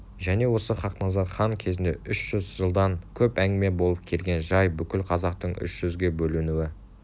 және осы хақназар хан кезінде үш жүз жылдан көп әңгіме болып келген жай бүкіл қазақтың үш жүзге бөлінуі